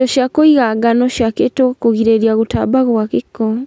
indo cia kũiga ngano ciakĩtwo kũgirĩrĩa gũtamba kwa gĩko.